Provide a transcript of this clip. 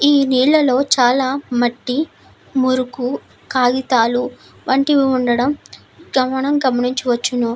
ఈ నీళ్లలో చాల మట్టి మురుకు కాగితాలు వంటివి ఉండడం మనము గమనించవచ్చును.